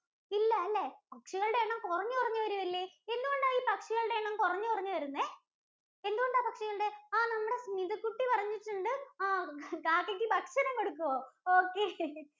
ഇല്ല അല്ലേ. പക്ഷികളുടെ എണ്ണം കുറഞ്ഞ് കുറഞ്ഞ് വരുകയല്ലേ? എന്ത് കൊണ്ടാ ഇങ്ങനെ പക്ഷികളുടെ എണ്ണം കുറഞ്ഞ് കുറഞ്ഞ് വരുന്നേ? എന്ത് കൊണ്ടാ പക്ഷികളുടെ ആഹ് നമ്മുടെ സ്മിതകുട്ടി പറഞ്ഞിട്ടുണ്ട് ആഹ് കാക്കയ്ക്ക് ഭക്ഷണം കൊടുക്കുവോ? okay